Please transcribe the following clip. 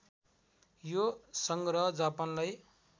यो सङ्ग्रह जापानलाई